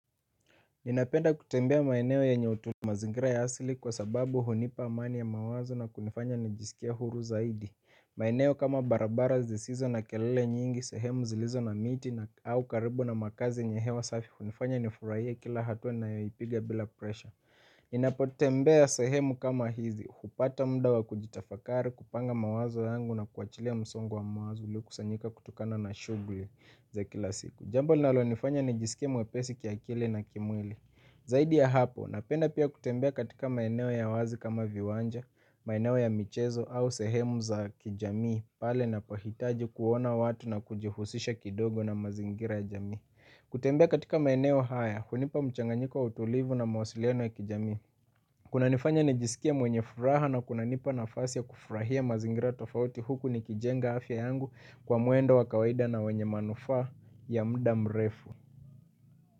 Ninapenda kutembea maeneo yenye utulivu mazingira ya asili kwa sababu hunipa amani ya mawazo na kunifanya nijisikie huru zaidi. Maeneo kama barabara zisizo na kelele nyingi, sehemu zilizo na miti au karibu na makazi yenye hewa safi hunifanya nifurahie kila hatua ninayoipiga bila presha. Ninapotembea sehemu kama hizi, hupata muda wa kujitafakari, kupanga mawazo yangu na kuachilia msongo wa mawazo uliokusanyika kutokana na shughuli za kila siku. Jambo linalonifanya nijisikie mwepesi kiakili na kimwili. Zaidi ya hapo, ninapenda pia kutembea katika maeneo ya wazi kama viwanja, maeneo ya michezo au sehemu za kijamii, pale ninapohitaji kuona watu na kujihusisha kidogo na mazingira ya jamii. Kutembea katika maeneo haya, hunipa mchanganyiko wa utulivu na mawasiliano ya kijamii. Kunanifanya nijisikie mwenye furaha na kunanipa nafasi ya kufurahia mazingira tofauti huku nikijenga afya yangu kwa mwendo wa kawaida na wenye manufaa ya muda mrefu.